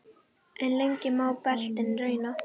En lengi má beltin reyna.